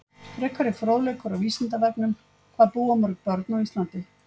Frekari fróðleikur á Vísindavefnum: Hvað búa mörg börn á Íslandi?